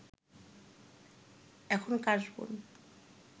এখন কাশবন